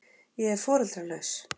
Ég er foreldralaus.